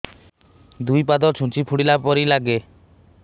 ଦୁଇ ପାଦ ଛୁଞ୍ଚି ଫୁଡିଲା ପରି ଲାଗେ